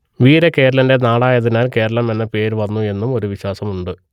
വീരകേരളന്റെ നാടായതിനാൽ കേരളം എന്ന പേർ വന്നു എന്നും ഒരു വിശ്വാസം ഉണ്ട്